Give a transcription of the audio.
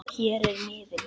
Hér er miðinn